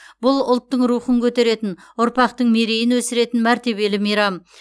бұл ұлттың рухын көтеретін ұрпақтың мерейін өсіретін мәртебелі мейрам